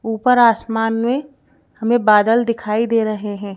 ऊपर आसमान में हमें बादल दिखाई दे रहे हैं।